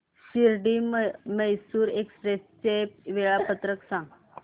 Shirdi Mysore express चे वेळापत्रक सांग